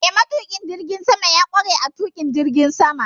Eh, matuƙin jirgin sama ya ƙware a tuƙin jirgin sama.